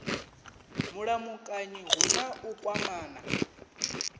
mulamukanyi hu na u kwamana